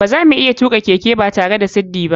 Bazamu iya tuka keke batare da siddi ba.